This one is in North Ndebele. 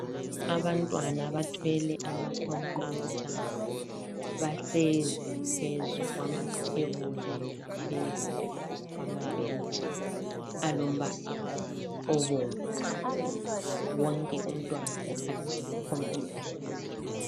Abantwana bathwele ama computer, bahlezi phezu kwamathebuli laphezu kwamabhentshi alombala obomvu. Wonke umntwana ukhangele kucomputer yakhe.